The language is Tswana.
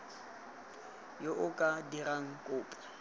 yo o ka dirang kopo